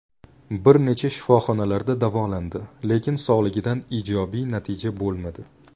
Bir necha shifoxonalarda davolandi, lekin sog‘ligida ijobiy natija bo‘lmadi.